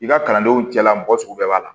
I ka kalandenw cɛla mɔgɔ sugu bɛɛ b'a la